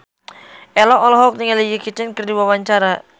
Ello olohok ningali Jackie Chan keur diwawancara